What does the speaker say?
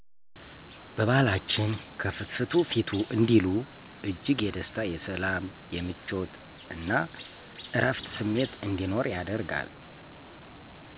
በባህላችን "ከፍትፍቱ ፊቱ " እንዲሉ እጅግ የደስታ :የሰላም :የምቾት እና እረፍት ስሜት እንዲኖር ያደርጋል።